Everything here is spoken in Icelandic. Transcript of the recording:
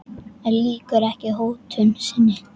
En lýkur ekki hótun sinni.